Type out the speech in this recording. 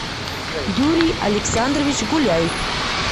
юрий александрович гуляев